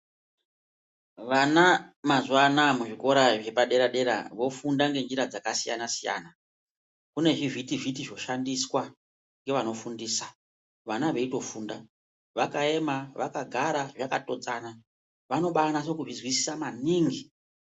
Vana mazuva anaya muzvikora zvepadera-dera vofunda ngenjera dzakasiyana-siyana, kune zvivhiti-vhiti zvoshandiswa ngevanofundisa vana veitofunda. Vakaema vakagara zvakatodzana vanobanyase kuzvizwisisa maningi.